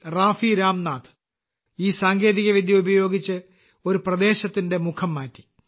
റാഫി രാംനാഥ് ഈ സാങ്കേതികവിദ്യ ഉപയോഗിച്ച് ഒരു പ്രദേശത്തിന്റെ മുഖം മാറ്റി